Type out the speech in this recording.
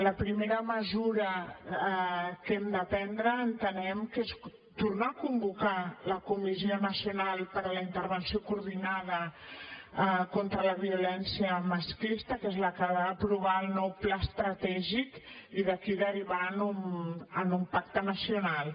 la primera mesura que hem de prendre entenem que és tornar a convocar la comissió nacional per a la intervenció coordinada contra la violència masclista que és la que ha d’aprovar el nou pla estratègic i d’aquí derivar en un pacte nacional